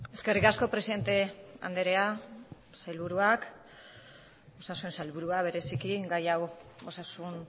eskerrik asko presidente andrea sailburuak osasun sailburua bereziki gai hau osasun